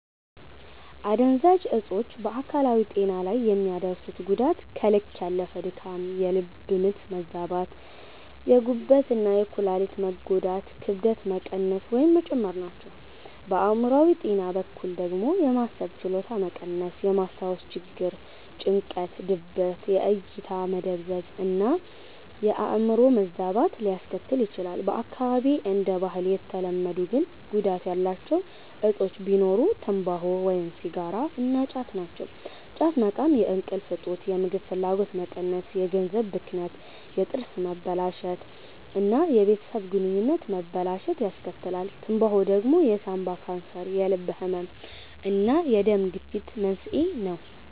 አደንዛዥ እጾች በአካላዊ ጤና ላይ የሚያደርሱት ጉዳት ከልክ ያለፈ ድካም፣ የልብ ምት መዛባት፣ የጉበት እና የኩላሊት መጎዳት፣ ክብደት መቀነስ ወይም መጨመር ናቸው። በአእምሮአዊ ጤና በኩል ደግሞ የማሰብ ችሎታ መቀነስ፣ የማስታወስ ችግር፣ ጭንቀት፣ ድብርት፣ የእይታ መደብዘዝ እና የአዕምሮ መዛባት ሊያስከትል ይችላል። በአካባቢዬ እንደ ባህል የተለመዱ ግን ጉዳት ያላቸው እጾች ቢኖሩ ትምባሆ (ሲጋራ) እና ጫት ናቸው። ጫት መቃም የእንቅልፍ እጦት፣ የምግብ ፍላጎት መቀነስ፣ የገንዘብ ብክነት፣ የጥርስ መበላሸት እና የቤተሰብ ግንኙነት መበላሸትን ያስከትላል። ትምባሆ ደግሞ የሳንባ ካንሰር፣ የልብ ህመም እና የደም ግፊት መንስኤ ነው።